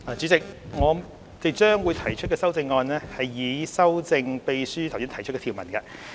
代理主席，我將會提出修正案，以修正秘書剛讀出的條文。